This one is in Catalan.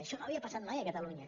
això no havia passat mai a catalunya